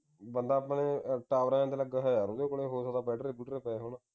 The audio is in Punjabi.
ਬੰਦਾ ਆਪਣੇ tower ਦੇ ਅੰਦਰ ਲੱਗਾ ਹੋਇਆ ਹੈ ਉਹਦੇ ਕੋਲ ਲਗਦਾ ਹੈ ਹੋ ਸਕਦਾ ਹੈ ਬਟੇਰੇ ਬੁਟੇਰੇ ਪਏ ਹੋਣ